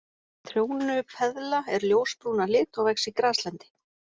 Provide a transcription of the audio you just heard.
Trjónupeðla er ljósbrún að lit og vex í graslendi.